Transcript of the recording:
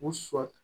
U sɔn